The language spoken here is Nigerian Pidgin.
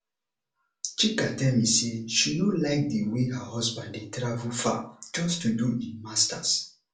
chika tell me say she no like the way her husband dey travel far just to do im masters